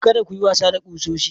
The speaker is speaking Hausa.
Kada ku yi wasa da kusoshi.